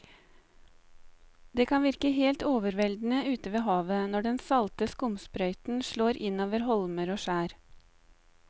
Det kan virke helt overveldende ute ved havet når den salte skumsprøyten slår innover holmer og skjær.